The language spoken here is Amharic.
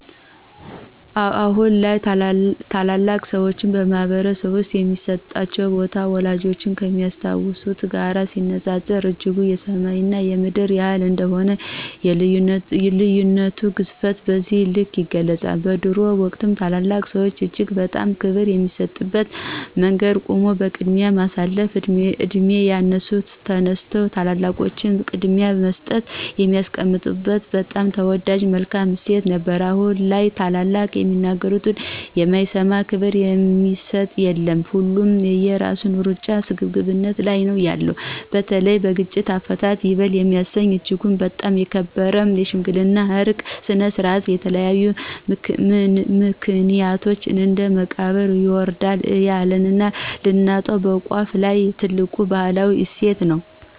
አሁን ላይ ታላላቅ ሰዎች በማህበረሰብ ውስጥ የሚሰጣቸው ቦታ፣ ወላጆቻችን ከሚያስታውሱት ጋር ሲነጻጸር እጅጉን የሰማይ እና የምድር ያህል እንደሆነ የልዩነት ግዝፈቱን በዚህ ልክ ይገልፁታል። በድሮው ወቅት ታላላቅ ሰዎች እጅግ በጣም ክብር የሚሰጡበት መንገድ ቆሞ ቅድሚያ የሳልፋበት፣ በዕድሜ ያነሱ ተነስተው ታላላቆቹን ቅድሚያ ሰጠው የሚያስቀምጡበት በጣም ተወዳጅ መልካም እሴት ነበረን አሁን ላይ ታላላቆቹ የሚናገሩት አይሰማ፣ ክብር የሚሰጥ የለ፣ ሁሉ የየራሱን ሩጫና ስግብግብነት ላይ ነው ያለነው። በተለይ በግጭት አፈታት ይበል የሚያሰኝ እጅጉን በጣም የተከበረ የሽምግልና የዕርቅ ስነ-ስርዓታችን በተለያዩ ምክኒያቶች ወደ መቃብር እዬወረደ ያለና ልናጣው በቋፍ ላይ ትልቅ ባህላዊ እሴት ነው።